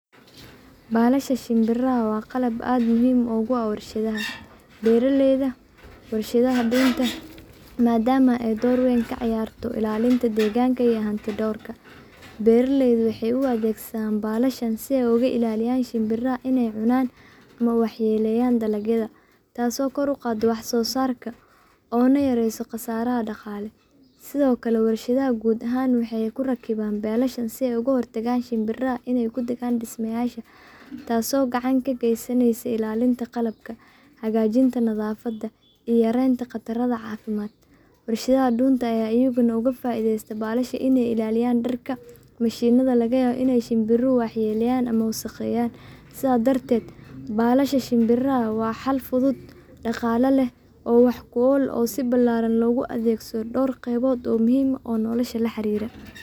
Balasha shimbiraha waa qalab aad muhiim ugu ah warshadaha, beeraleyda, iyo warshadaha dunta, maadaama ay door weyn ka ciyaarto ilaalinta deegaanka iyo hanti-dhawrka. Beeraleydu waxay u adeegsadaan balashan si ay uga ilaaliyaan shimbiraha inay cunaan ama waxyeelleeyaan dalagyada, taasoo kor u qaadda wax-soo-saarka oo yareyso khasaaraha dhaqaale. Sidoo kale, warshadaha guud ahaan waxay ku rakibaan balasha si ay uga hortagaan shimbiraha inay ku degaan dhismayaasha, taasoo gacan ka geysaneysa ilaalinta qalabka, hagaajinta nadaafadda, iyo yaraynta khataraha caafimaad. Warshadaha dunta ayaa iyaguna uga faa’iideysta balasha inay ilaaliyaan dharka iyo mashiinnada laga yaabo in shimbiruhu waxyeelleeyaan ama wasakheeyaan. Sidaas darteed, balasha shimbiraha waa xal fudud, dhaqaale leh, oo wax ku ool ah oo si ballaaran loogu adeegsado dhowr qaybood oo muhiim ah oo nolosha la xiriira.